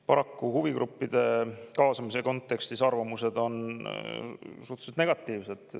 Paraku huvigruppide arvamused on suhteliselt negatiivsed.